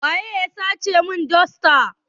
Waya sace mun dosta?